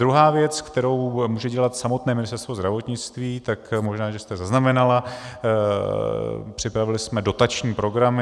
Druhá věc, kterou může dělat samotné Ministerstvo zdravotnictví, tak možná že jste zaznamenala, připravili jsme dotační programy.